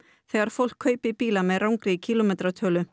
þegar fólk kaupi bíla með rangri